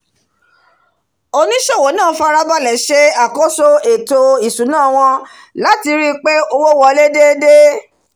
onísòwò náà farabalẹ̀ se àkóso ètò ìsúná wọn lati ríi pé owó wolé déédé